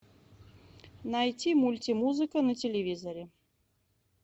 найти мульти музыка на телевизоре